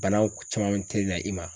Banaw camanw tɛ na i ma.